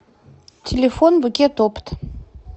телефон букетопт